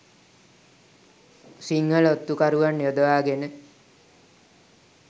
සිංහල ඔත්තු කරුවන් යොදවා ගෙන